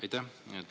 Aitäh!